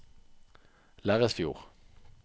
Lerresfjord